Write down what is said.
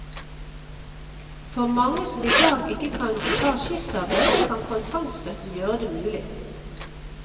For mange som i dag ikke kan ta skiftarbeid, kan kontantstøtten gjøre det mulig.